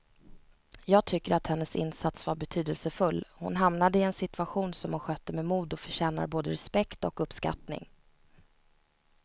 Jag tycker att hennes insats var betydelsefull, hon hamnade i en situation som hon skötte med mod och förtjänar både respekt och uppskattning.